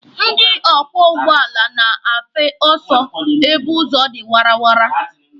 Ndị ọkwọ ụgbọala na-afe ọsọ ebe ụzọ dị wara wara.